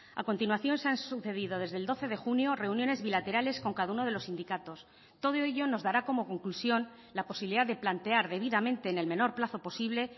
a continuación se han sucedido desde el doce de junio reuniones bilaterales con cada uno de los sindicatos todo ello nos dará como conclusión la posibilidad de plantear debidamente en el menor plazo posible